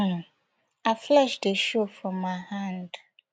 um her flesh dey show from her hand